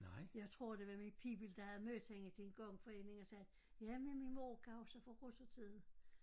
Jeg tror det var min pibel der havde mødt hende til en gangforening g sagde ja men min mor kan huske fra russertiden